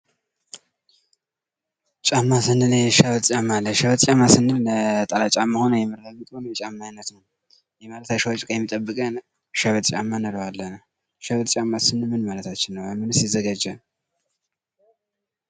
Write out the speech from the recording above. ጫማ ስንል ሸበጥ ጫማ አለ። ሸበጥ ስንል ነጠላ ጫማ ሁኖ ከአሸዋ የሚጠብቀን ነው። ሸበጥ ጫማ ስንል ምን ማለታችን ነው? ከምንስ ይሰራል?